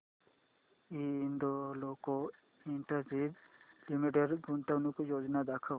Hindalco industries limited गुंतवणूक योजना दाखव